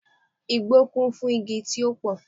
Igbó kún fún igi tí ó pò